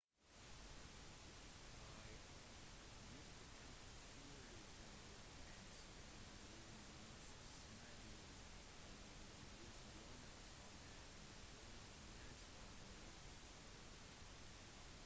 i 1957 ble luxembourg et grunnleggingsmedlem av organisasjonen som er i dag kjent som eu